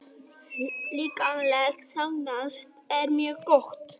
Líkamlegt ástand er mjög gott.